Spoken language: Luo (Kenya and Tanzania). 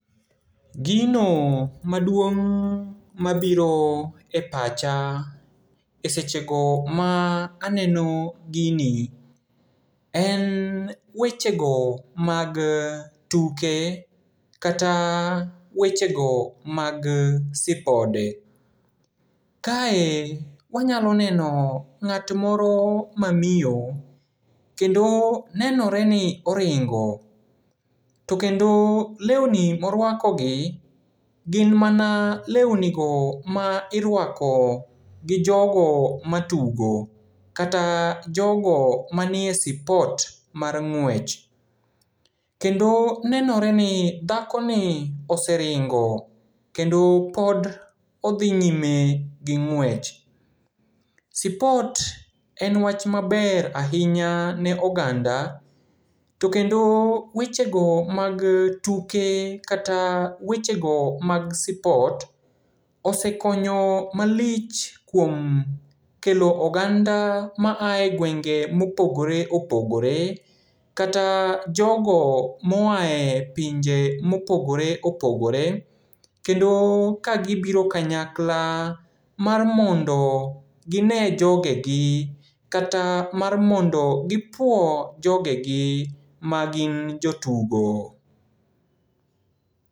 Gino maduong' mabiro e pacha e sechego ma aneno gini, en wechego mag tuke, kata wechego mag sipode. Kae wanyalo neno ng'at moro mamiyo, kendo nenoreni oringo. To kendo leuni moruakogi, gin mana leunigo ma iruako gi jogo matugo, kata jogo manie sipot mar ng'wech. Kendo nenoreni dhakoni oseringo kendo pod odhi nyime gi ng'wech. Sipot en wach maber ahinya ne oganda, to kendo wechego mag tuke kata wechego mag spot, osekonyo malich kuom kelo oganda maae gwenge mopogore opogore, kata jogo moae pinje mopogore opogore. Kendo kagibiro kanyakla mar mondo ginee jogegi kata mar mondo gipuo jogegi magin jotugo.